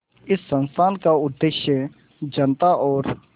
इस संस्थान का उद्देश्य जनता और